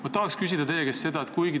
Ma tahan teie käest ka küsida.